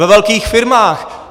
Ve velkých firmách.